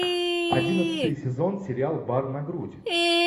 одиннадцатый сезон сериал бар на грудь